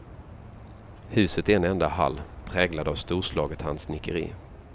Huset är en enda hall, präglad av storslaget handsnickeri.